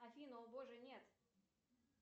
афина о боже нет